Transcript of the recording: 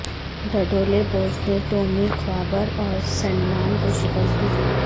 Dudley boys نے Tommy خوابر اور سینڈمان کو شکست دی